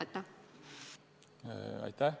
Aitäh!